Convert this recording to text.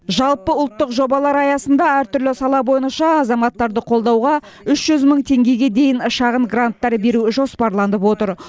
жалпы ұлттық жобалар аясында әртүрлі сала бойынша азаматтарды қолдауға үш жүз мың теңгеге дейін шағын гранттар беру жоспарланып отыр